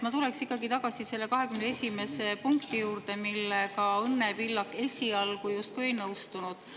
Ma tuleks ikkagi tagasi selle 21. punkti juurde, millega Õnne Pillak esialgu justkui ei nõustunud.